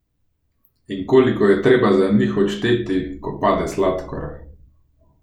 In koliko je treba za njih odšteti, ko pade sladkor?